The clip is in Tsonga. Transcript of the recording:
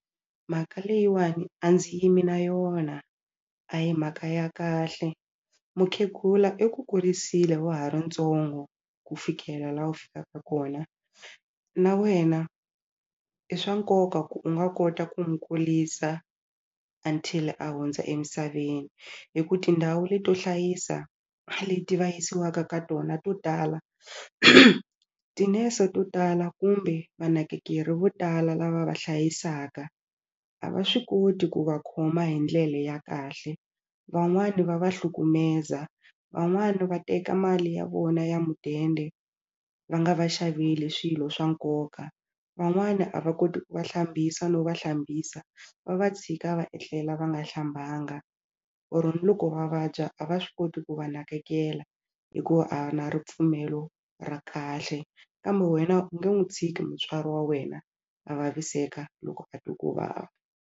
Mhaka leyiwani a ndzi yimi na yona a hi mhaka ya kahle mukhegula i ku kurisile wa ha ri ntsongo ku fikela laha fikaka kona na wena i swa nkoka ku u nga kota ku n'wi kuisa until a hundza emisaveni hi ku tindhawu leto hlayisa leti va yisiwaka ka tona to tala tinese to tala kumbe vanakekeri vo tala lava va hlayisaka a va swi koti ku va khoma hi ndlele ya kahle van'wani va va hlukumeza van'wani va teka mali ya vona ya mudende va nga va xaveli swilo swa nkoka van'wana a va koti ku va hlambisa no va hlambisa va va tshika va etlela va nga hlambanga or ni loko va vabya a va swi koti ku va nakekela hikuva a va na ripfumelo ra kahle kambe wena u nge n'wu tshiki mutswari wa wena a vaviseka loko a twa ku vava.